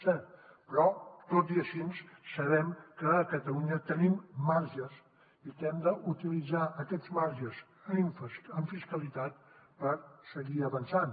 és cert però tot i així sabem que a catalunya tenim marges i que hem d’utilitzar aquests marges en fiscalitat per seguir avançant